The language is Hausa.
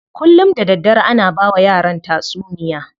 Kullum da daddare ana bawa yaran tatsuniya.